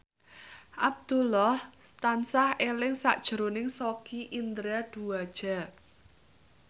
Abdullah tansah eling sakjroning Sogi Indra Duaja